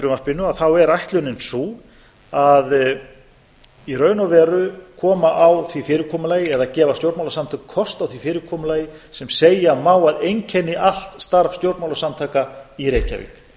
frumvarpinu er ætlunin sú að í raun og veru koma á því fyrirkomulagi eða gefa stjórnmálasamtökum kost á því fyrirkomulagi sem segja má að einkenni allt starf stjórnmálasamtaka í reykjavík